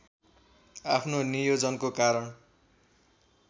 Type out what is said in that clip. आफ्नो नियोजनको कारण